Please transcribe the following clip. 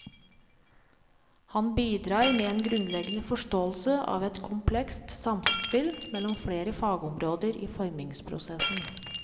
Han bidrar med en grunnleggende forståelse av et komplekst samspill mellom flere fagområder i formingsprosessen.